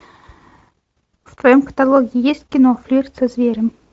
в твоем каталоге есть кино флирт со зверем